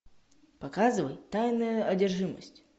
показывай тайная одержимость